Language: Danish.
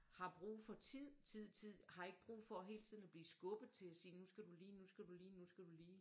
Har brug for tid tid tid har ikke brug for hele tiden at blive skubbet til sige nu skal du lige nu skal du lige nu skal du lige